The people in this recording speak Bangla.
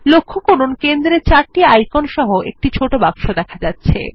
লক্ষ্য করুন কেন্দ্রে চারটি আইকন সহ একটি ছোট বাক্স দেখা যাচ্ছে